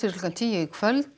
klukkan tíu í kvöld